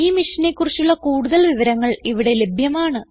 ഈ മിഷനെ കുറിച്ചുള്ള കുടുതൽ വിവരങ്ങൾ ഇവിടെ ലഭ്യമാണ്